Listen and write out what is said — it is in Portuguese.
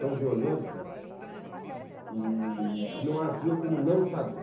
tão violenta, e que não havia como não fazer.